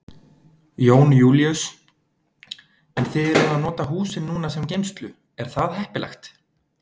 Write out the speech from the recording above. Jón Júlíus: En þið eruð að nota húsin núna sem geymslu, er það heppilegt?